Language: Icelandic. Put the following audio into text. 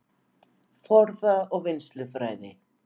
Forða- og vinnslufræði